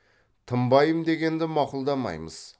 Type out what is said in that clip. тынбаймын дегенді мақұлдамаймыз